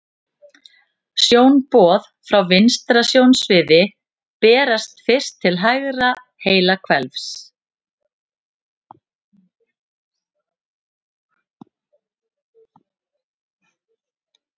Sjónboð frá vinstra sjónsviði berast fyrst til hægra heilahvels.